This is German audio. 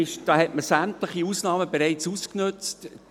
Da hat man sämtliche Ausnahmen bereits ausgenutzt.